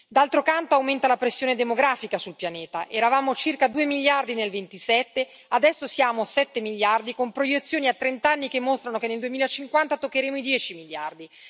D'altro canto, aumenta la pressione demografica sul pianeta, eravamo circa 2 miliardi nel '27, adesso siamo 7 miliardi con proiezioni a trent'anni che mostrano che nel 2050 toccheremo i 10 miliardi.